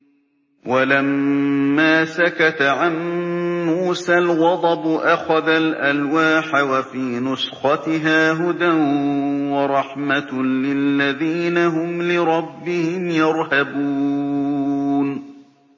وَلَمَّا سَكَتَ عَن مُّوسَى الْغَضَبُ أَخَذَ الْأَلْوَاحَ ۖ وَفِي نُسْخَتِهَا هُدًى وَرَحْمَةٌ لِّلَّذِينَ هُمْ لِرَبِّهِمْ يَرْهَبُونَ